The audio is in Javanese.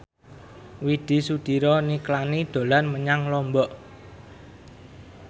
Widy Soediro Nichlany dolan menyang Lombok